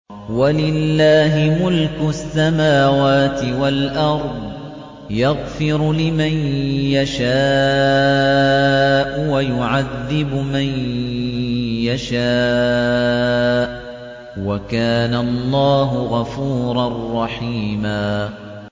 وَلِلَّهِ مُلْكُ السَّمَاوَاتِ وَالْأَرْضِ ۚ يَغْفِرُ لِمَن يَشَاءُ وَيُعَذِّبُ مَن يَشَاءُ ۚ وَكَانَ اللَّهُ غَفُورًا رَّحِيمًا